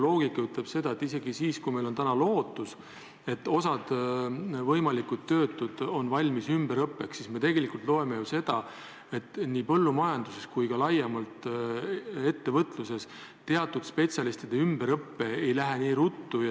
Loogika ütleb ju seda, et isegi siis, kui meil on lootust, et osa võimalikke töötuid on valmis ümberõppeks, siis tegelikult, nagu me teame, põllumajanduses ega ka laiemalt ettevõtluses ei käi teatud spetsialistide ümberõpe nii ruttu.